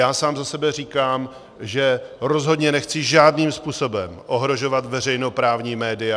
Já sám za sebe říkám, že rozhodně nechci žádným způsobem ohrožovat veřejnoprávní média.